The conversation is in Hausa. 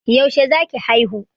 Yaushe za ki haihu?